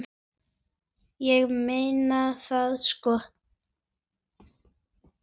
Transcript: Ég meina það sko.